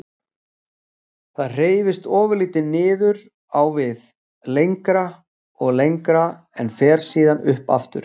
Það hreyfist ofurlítið niður á við. lengra og lengra, en fer síðan upp aftur.